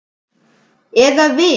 Eða við.